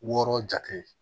Wɔɔrɔ jate